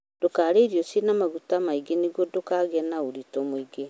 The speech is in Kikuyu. Ndûkarîe irio cina maguta maingĩ nĩguo ndũkagie na ũritũ mũingĩ